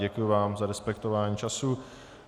Děkuji vám za respektování času.